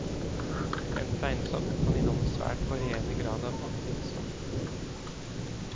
En fleinsopp kan inneholde svært varierende grad av aktivt stoff.